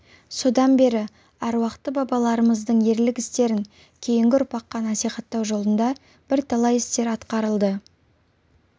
содан бері аруақты бабаларымыздың ерлік істерін кейінгі ұрпаққа насихаттау жолында бірталай істер атқарылды